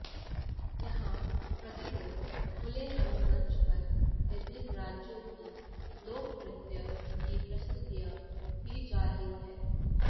यहां प्रतिदिन खुले रंगमंच पर विभिन्न राज्यों की लोकनृत्य की प्रस्तुतियां दी जा रही हैं